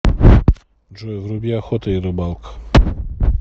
джой вруби охота и рыбалка